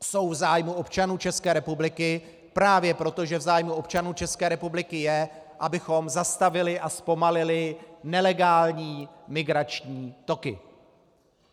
Jsou v zájmu občanů České republiky právě proto, že v zájmu občanů České republiky je, abychom zastavili a zpomalili nelegální migrační toky.